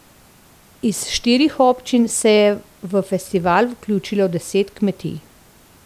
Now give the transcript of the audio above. Iz štirih občin se je v festival vključilo deset kmetij.